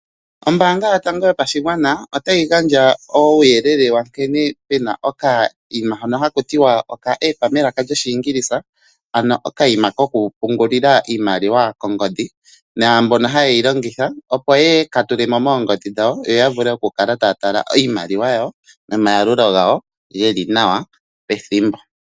Ombaanga yotango yopashigwana otayi gandja uuyelele wa nkene pu na okanima hono haku tiwa oka app melaka lyOshiingilisa ano okayima koku pungulila iimaliwa kongodhi, naambono haye ka longitha opo ya vule okukala ha ya tala iimaliwa nomayalulo gawo ye li nawa pethimbo.